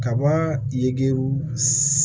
Kaba ye